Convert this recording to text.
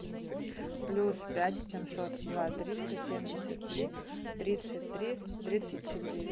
плюс пять семьсот два триста семьдесят три тридцать три тридцать четыре